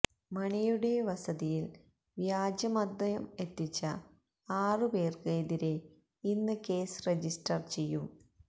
മണിയുടെ വസതിയില് വ്യാജമദ്യം എത്തിച്ച ആറു പേര്ക്ക് എതിരെ ഇന്ന് കേസ് രജിസ്റ്റര് ചെയ്യും